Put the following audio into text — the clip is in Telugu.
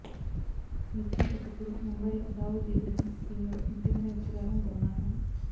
మిర్చి ఒకప్పుడు ముంబైలో దావూద్ ఇబ్రహీం టీంలో ముఖ్యమైన వ్యక్తి కావడం గమనార్హం